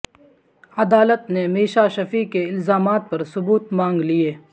عدالت نے میشا شفیع کے الزامات پر ثبوت مانگ لئے